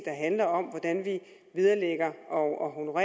handler om hvordan vi vederlægger og